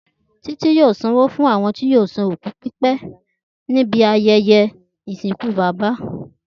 Títí yóò sanwó fún àwọn tí yóò ṣe òkú pípè níbi ayẹyẹ ìsìnkú bàbá rẹ̀